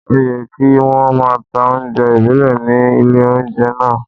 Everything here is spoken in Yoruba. Òyẹ kí wón máa ta oúnjẹ ìbílẹ̀ ní ilé oúnjẹ náà.